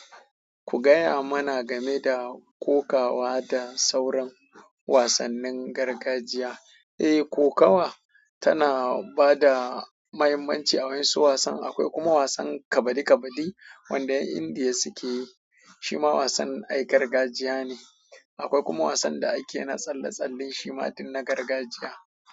Ku gaya mana game da kokawa da sauran wasannin gargajiya. Eh, kokawa tana bada muhimmanci a wasu wasan akwai kuma wasan kabadi kabadi wanda 'yan Indiya suke yi, shi ma wasan ai gargajiya ne. Akwai kuma wasan da ake na tsalle tsalle, shi ma ɗin na gargajiya.